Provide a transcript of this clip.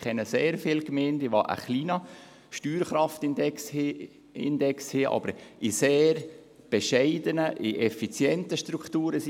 Ich kenne sehr viele Gemeinden, die einen kleinen Steuerkraftindex haben, aber sehr bescheidene, effiziente Strukturen haben.